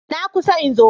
Na kusa in zo.